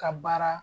Ka baara